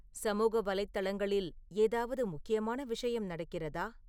சமூக வலைதளங்களில் ஏதாவது முக்கியமான விஷயம் நடக்கிறதா